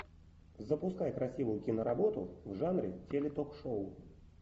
запускай красивую киноработу в жанре теле ток шоу